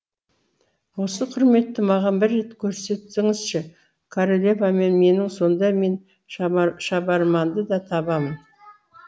осы құрметті маған бір рет көрсетіңізші королевамен менің сонда мен шабарманды да табамын